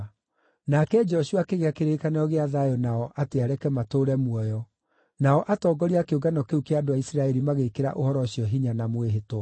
Nake Joshua akĩgĩa kĩrĩkanĩro gĩa thayũ nao atĩ areke matũũre muoyo, nao atongoria a kĩũngano kĩu kĩa andũ a Isiraeli magĩĩkĩra ũhoro ũcio hinya na mwĩhĩtwa.